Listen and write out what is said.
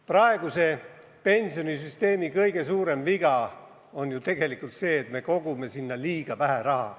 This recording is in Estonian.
Praeguse pensionisüsteemi kõige suurem viga on tegelikult see, et me kogume sinna liiga vähe raha.